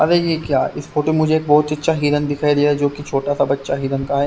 अरे यह क्या इस फोटो मुझे एक बहुत अच्छा हिरण दिखाई दिया जो कि छोटा सा बच्चा हिरन का है।